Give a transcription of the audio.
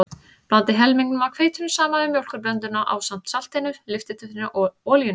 Blandið helmingnum af hveitinu saman við mjólkurblönduna ásamt saltinu, lyftiduftinu og olíunni.